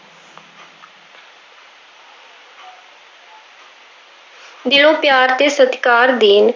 ਦਿਲੋਂ ਪਿਆਰ ਤੇ ਸਤਿਕਾਰ ਦੇਣ।